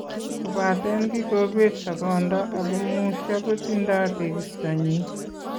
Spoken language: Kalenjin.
Kobateen kikobeet soboondo ako musyo kotindo tekistonyin